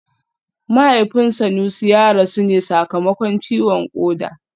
Mahaifin Sanusi ya rasu ne sakamakon ciwon koda